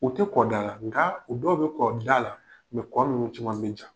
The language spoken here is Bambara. U tɛ kɔ da la nka u dɔw bɛ kɔ da la kɔ minnu caman min ja.